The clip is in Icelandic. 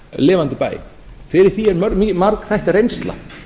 lifandi bæ fyrir því er margþætt reynsla